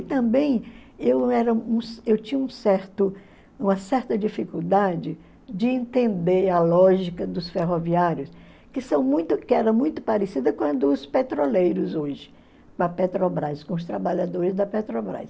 E também eu era eu tinha um certo uma certa dificuldade de entender a lógica dos ferroviários, que são muito que era muito parecida com a dos petroleiros hoje, com os trabalhadores da Petrobras.